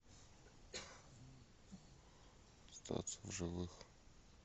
остаться в живых